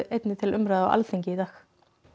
einnig til umræðu á Alþingi í dag